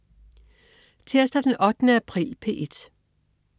Tirsdag den 8. april - P1: